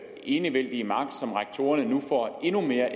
enevældige magt som rektorerne nu får endnu mere